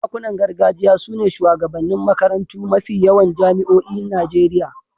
Sarakunan gargajiya su ne shugabannin makarantun mafi yawan jami'oin Najeriya.